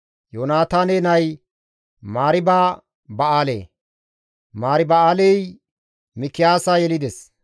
Yoonataane nay Mariiba-Ba7aale; Mariiba7aaley Mikiyaasa yelides.